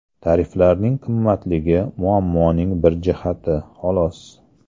Tariflarning qimmatligi muammoning bir jihati, xolos.